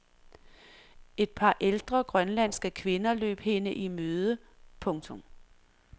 Et par ældre grønlandske kvinder løb hende i møde. punktum